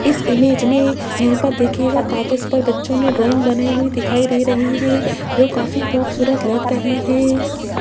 इस इमेज में यहां पर देखिएगा कागज पर बच्चों ने ड्राइंग बनाई हुई दिखाई दे रही है जो काफी खूबसूरत लग रही है।